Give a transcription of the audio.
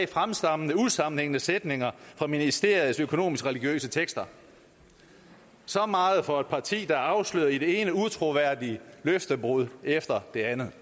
fremstammende usammenhængende sætninger fra ministeriets økonomiske religiøse tekster så meget for et parti der er afsløret i det ene utroværdige løftebrud efter det andet